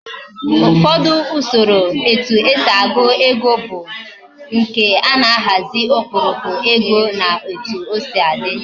Ufodu Usoro etu esi agu ego bu nke ana ahazi okpurukpu ego na otu osi di